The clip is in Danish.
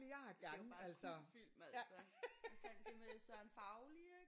Det er jo bare en kultfilm altså. Hvad fanden det er med Søren Fauli ik?